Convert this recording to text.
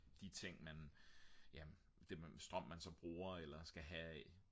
de ting man ja det strøm man så bruger eller skal have af